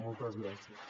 moltes gràcies